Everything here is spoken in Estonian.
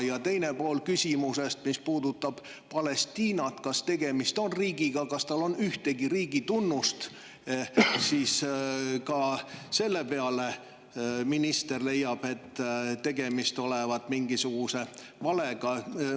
Ja teine pool küsimusest, mis puudutas Palestiinat – et kas tegemist on riigiga ja kas tal on ühtegi riigi tunnust –, ka selle peale minister leidis, et tegemist olevat mingisuguse valega.